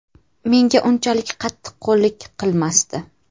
Menga unchalik qattiqqo‘llik qilmasdi.